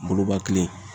Goloba kelen